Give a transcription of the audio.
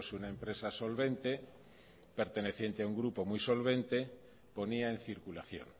una empresa solvente perteneciente a un grupo muy solvente ponía en circulación